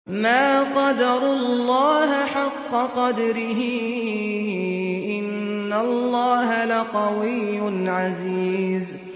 مَا قَدَرُوا اللَّهَ حَقَّ قَدْرِهِ ۗ إِنَّ اللَّهَ لَقَوِيٌّ عَزِيزٌ